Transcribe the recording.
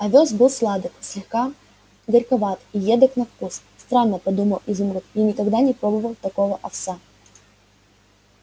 овёс был сладок слегка горьковат и едок на вкус странно подумал изумруд я никогда не пробовал такого овса